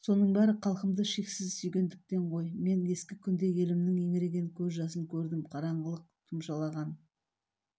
соның бәрі халқымды шексіз сүйгендіктен ғой мен ескі күнде елімнің еңіреген көз жасын көрдім қараңғылық тұмшалаған